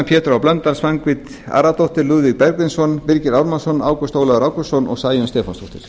pétur h blöndal svanhvít aradóttir lúðvík bergvinsson birgir ármannsson ágúst ólafur ágústsson og sæunn stefánsdóttir